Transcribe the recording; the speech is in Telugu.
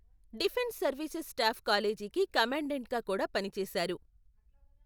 డిఫెన్స్ సర్వీసెస్ స్టాఫ్ కాలేజీకి కమాండెంట్గా కూడా పనిచేశారు.